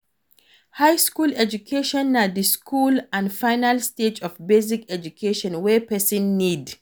high school education na the school and final stage of basic education wey persin need